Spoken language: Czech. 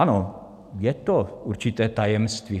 Ano, je to určité tajemství.